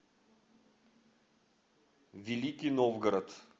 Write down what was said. великий новгород